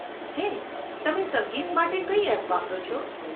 હે, તમે સંગીત માટે કઈ એપ વાપરો છો?